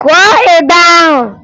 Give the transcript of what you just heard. Kụọ ịgba ahụ!